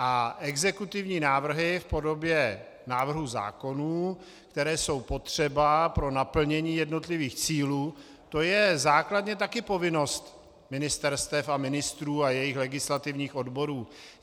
A exekutivní návrhy v podobě návrhů zákonů, které jsou potřeba pro naplnění jednotlivých cílů, to je základně také povinnost ministerstev a ministrů a jejich legislativních odborů.